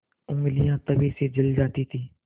ऊँगलियाँ तवे से जल जाती थीं